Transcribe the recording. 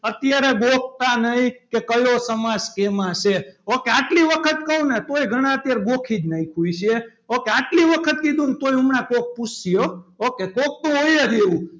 અત્યારે ગોખતા નહીં કે કયો સમાસ કેમાં છે ok આટલી વખત કહું ને તો ગણા અત્યારે ગોખી જ નાખ્યું છે. ok આટલી વખત કીધું ને તો પણ હમણાં કોક પૂછશે હો ok કોક તો હોય જ એવું